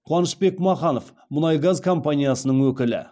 қуанышбек маханов мұнай газ компаниясының өкілі